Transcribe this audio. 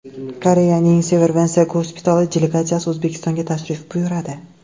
Koreyaning Severance gospitali delegatsiyasi O‘zbekistonga tashrif buyuradi.